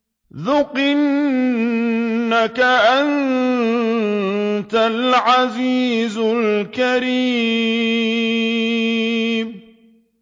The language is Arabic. ذُقْ إِنَّكَ أَنتَ الْعَزِيزُ الْكَرِيمُ